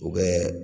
U bɛ